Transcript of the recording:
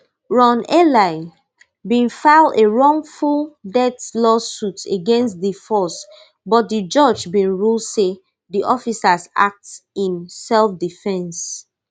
ron ely bin file a wrongful death lawsuit against di force but di judge bin rule say di officers act in selfdefence